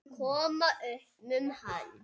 Koma upp um hann.